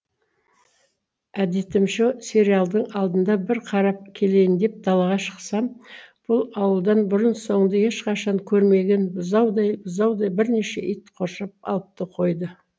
әдетімше сериалдың алдында бір қарап келейін деп далаға шықсам бұл ауылдан бұрын соңды ешқашан көрмеген бұзаудай бұзаудай бірнеше ит қоршап алыпты қойды